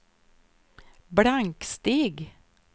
blanksteg